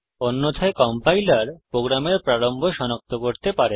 অন্যথায় কম্পাইলার প্রোগ্রামের প্রারম্ভ সনাক্ত করতে পারে না